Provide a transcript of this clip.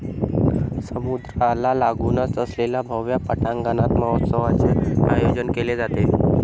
समुद्राला लागुनच असलेल्या भव्य पटांगणात महोत्सवाचे आयोजन केले जाते.